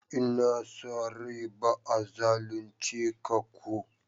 N'na sa rai ba'a zalunce ka ko?